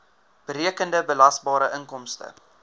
berekende belasbare inkomste